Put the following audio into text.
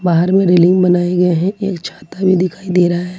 बाहर मे रेलिंग बनाए गए हैं एक छाता भी दिखाई दे रहा है।